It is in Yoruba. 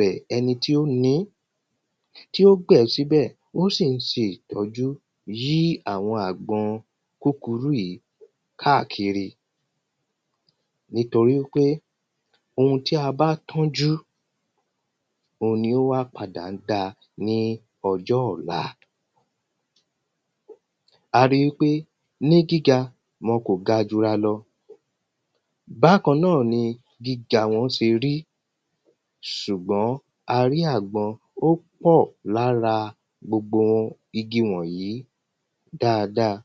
rẹ̀ ẹni tí ó ní tí ó gbìn sí ibẹ̀ ó sì ń ṣe ìtọ́jú yí àwọn àgbọn kúkurú yìí káàkiri Nítorí wípé oun tí a bá tọ́jú òun ni ó wá padà ń dáa ni ọjọ́ ọ̀la A ri wípé ní gíga wọn kò ga jura lọ Bákan náà ní gíga wọ́n ṣe rí ṣùgbọ́n a rí àgbọn ó pọ̀ lára gbogbo igi wọ̀nyìí dáadáa